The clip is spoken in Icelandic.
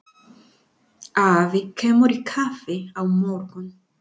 Afi kemur í kaffi á morgun.